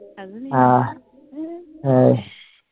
হ্যাঁ